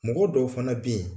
Mɔgɔ dɔw fana be yen